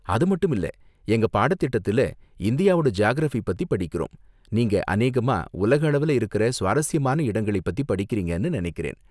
அதுமட்டுமில்ல, எங்க பாடத் திட்டத்தில் இந்தியாவோட ஜியாகிரஃபி பத்தி படிக்கிறோம், நீங்க அநேகமாக உலக அளவுல இருக்கிற சுவாரஸ்யமான இடங்களைப் பத்தி படிக்கிறீங்கன்னு நினைக்கிறேன்.